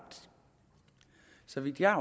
så vidt jeg